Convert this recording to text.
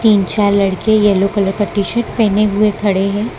तीन-छह लड़के yellow colour का shirt पहने हुए खड़े हैं।